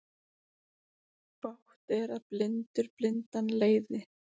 Bágt er að blindur blindan leiði.